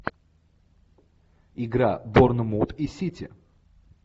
игра борнмут и сити